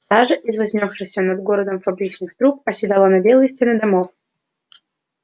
сажа из вознёсшихся над городом фабричных труб оседала на белые стены домов